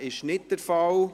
– Das ist nicht der Fall.